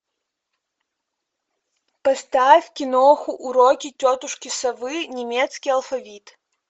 поставь кино уроки тетушки совы немецкий алфавит